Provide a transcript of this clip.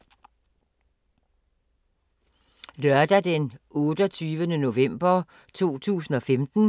Lørdag d. 28. november 2015